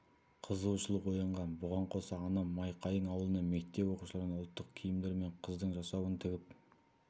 қызығушылық оянған бұған қоса анам майқайың ауылында мектеп оқушыларына ұлттық киімдер мен қыздың жасауын тігіп